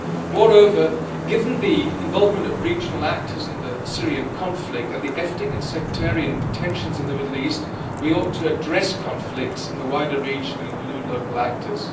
Moreover, given the involvement of regional actors in the Syrian conflict and the ethnic and sectarian tensions in the Middle East, we ought to address conflicts in the wider region and include local actors.